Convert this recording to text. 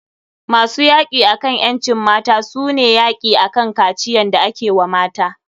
Masu yaki akan ƴancin mata su ne yaki akan kaciyan da ake wa mata.